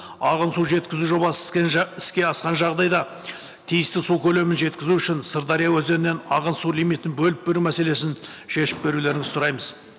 ағын су жеткізу жобасы іске іске асқан жағдайда тиісті су көлемін жеткізу үшін сырдария өзенінен ағын су лимитін бөліп беру мәселесін шешіп берулеріңізді сұраймыз